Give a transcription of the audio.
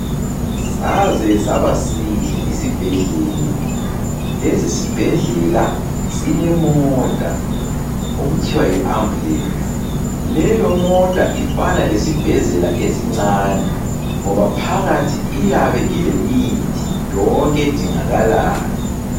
Saze saba sihle isibhedlela. Lesi sibhedlela silemota okuthiwa yiAmbulance. Leyomota ifana lesibhedlela esincane ngoba phakathi iyabe ilemithi yonke edingakalayo.